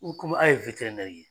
komi aw ye ye.